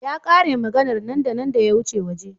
Ya k'are maganar nan da nan da ya wuce waje.